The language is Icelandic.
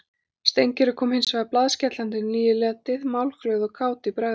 Steingerður kom hins vegar blaðskellandi um níuleytið, málglöð og kát í bragði.